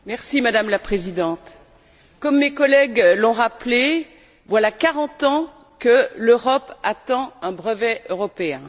Madame la Présidente, comme mes collègues l'on rappelé, voilà quarante ans que l'Europe attend un brevet européen.